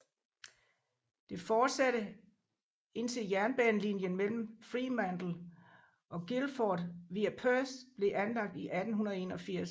Det fortsatte indtil jernbanelinjen mellem Fremantle og Guildford via Perth blev anlagt i 1881